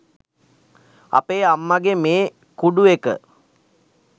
අපේ අම්මගේ මේ කුඩු එක